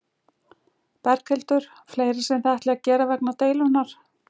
Berghildur: Fleira sem þið ætlið að gera vegna deilunnar?